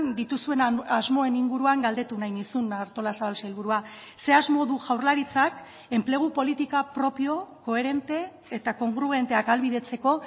dituzuen asmoen inguruan galdetu nahi nizun artolazabal sailburua ze asmo du jaurlaritzak enplegu politika propio koherente eta kongruenteak ahalbidetzeko